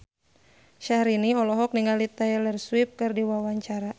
Syahrini olohok ningali Taylor Swift keur diwawancara